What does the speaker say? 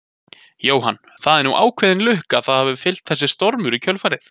Jóhann: Það er nú ákveðin lukka að það hafi fylgt þessu stormur í kjölfarið?